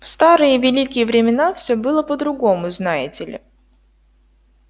в старые великие времена всё было по-другому знаете ли